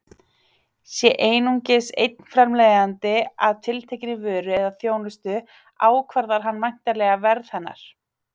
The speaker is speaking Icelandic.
Sé einungis einn framleiðandi að tiltekinni vöru eða þjónustu ákvarðar hann væntanlega verð hennar.